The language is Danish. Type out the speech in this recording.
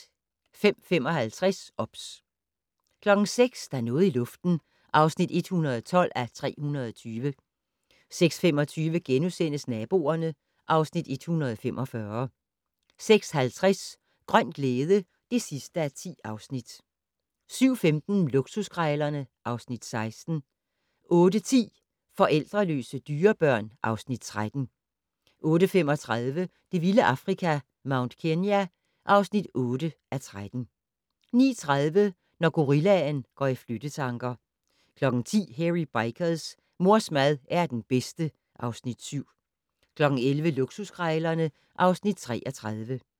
05:55: OBS 06:00: Der er noget i luften (112:320) 06:25: Naboerne (Afs. 145)* 06:50: Grøn glæde (10:10) 07:15: Luksuskrejlerne (Afs. 16) 08:10: Forældreløse dyrebørn (Afs. 13) 08:35: Det vilde Afrika - Mount Kenya (8:13) 09:30: Når gorillaen går i flyttetanker 10:00: Hairy Bikers: Mors mad er den bedste (Afs. 7) 11:00: Luksuskrejlerne (Afs. 33)